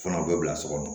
Fana o bɛ bila so kɔnɔ